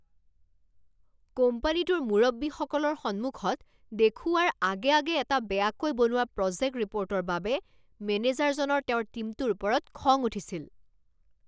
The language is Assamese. কোম্পানীটোৰ মুৰব্বীসকলৰ সন্মুখত দেখুওৱাৰ আগে আগে এটা বেয়াকৈ বনোৱা প্ৰজেক্ট ৰিপ'ৰ্টৰ বাবে মেনেজাৰজনৰ তেওঁৰ টীমটোৰ ওপৰত খং উঠিছিল।